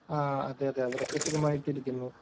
ആ, അതേയതേ അവരൊക്കെ സുഖമായിട്ടിരിക്കുന്നു.